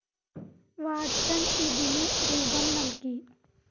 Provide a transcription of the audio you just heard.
Watson ഇതിനു രൂപം നൽകി.